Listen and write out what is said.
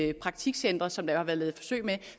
i praktikcentre som der jo har været lavet forsøg med